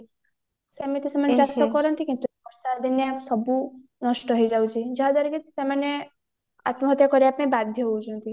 ସେମିତି ସେମାନ ଚାଷ କରନ୍ତି କିନ୍ତୁ ବର୍ଷା ଦିନିଆ ସବୁ ନଷ୍ଟ ହେଇଯାଉଚି ଯାହା ଦ୍ଵାରା କି ସେମାନେ ଆତ୍ମାହତ୍ୟା କରିବା ପାଇଁ ବାଧ୍ୟ ହଉଚନ୍ତି